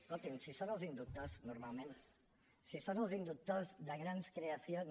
escoltin si en són els inductors normalment si són els inductors de grans creacions